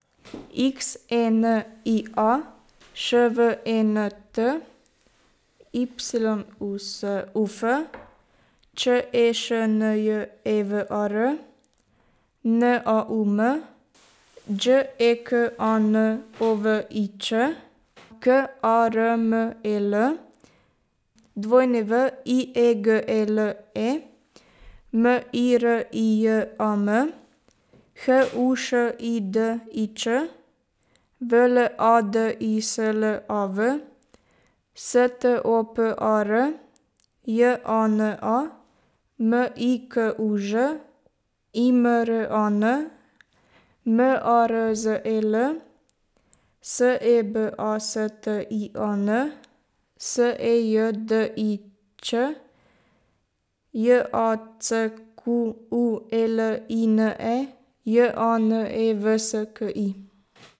X E N I A, Š V E N T; Y U S U F, Č E Š N J E V A R; N A U M, Đ E K A N O V I Ć; K A R M E L, W I E G E L E; M I R I J A M, H U Š I D I Ć; V L A D I S L A V, S T O P A R; J A N A, M I K U Ž; I M R A N, M A R Z E L; S E B A S T I A N, S E J D I Ć; J A C Q U E L I N E, J A N E V S K I.